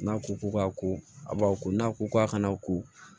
N'a ko ko k'a ko a b'aw ko n'a ko k'a kana ko